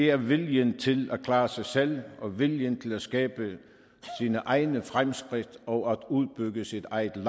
er viljen til at klare sig selv og viljen til at skabe sine egne fremskridt og udbygge sit eget